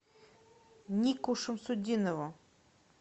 нику шамсутдинову